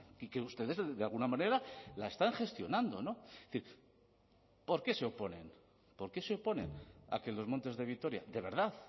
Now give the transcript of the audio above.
y que ustedes de alguna manera la están gestionando es decir por qué se oponen por qué se oponen a que los montes de vitoria de verdad